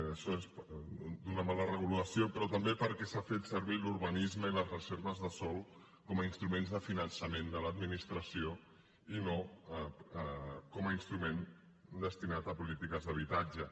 això és d’una mala regulació però també perquè s’ha fet servir l’urbanisme i les reserves de sòl com a instruments de finançament de l’administració i no com a instrument destinat a polítiques d’habitatge